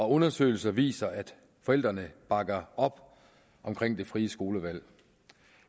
undersøgelser viser at forældrene bakker op om det frie skolevalg